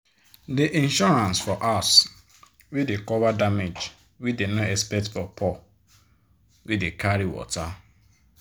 de insurance for house dey cover damage wey dey no expect for poor wey dey carry water.